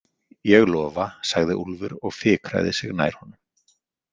Ég lofa, sagði Úlfur og fikraði sig nær honum.